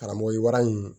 Karamɔgɔyi warani